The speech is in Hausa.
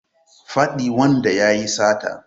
Faɗi wanda yayi sata